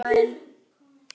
Hvað hefur komið fyrir Palla?